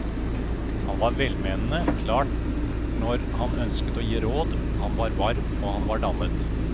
Han var velmenende, klar når han ønsket å gi råd, han var varm og han var dannet.